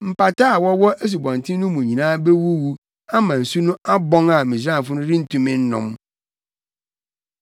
Mpataa a wɔwɔ asubɔnten no mu nyinaa bewuwu ama nsu no abɔn a Misraimfo no rentumi nnom.’ ”